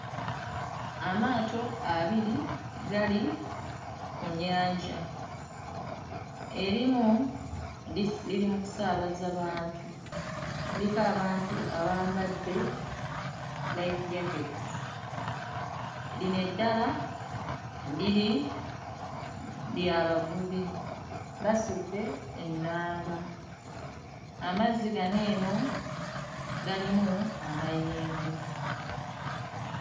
Amaato abiri gali ku nnyanja, erimu lisi liri mukusaabaza bantu, kuliko abantu abambadde life jackets, lino eddala liri lya bavubi basudde ennanga, amazzi gano eno galimu amayengo.